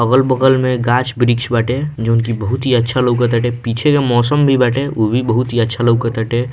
अगल-बगल में गाछ-वृक्ष बाटे जोन कि बहुत अच्छा लौकत हटे पीछे का मौसम भी बाटे उ भी बहुत ही अच्छा लौकत हटे।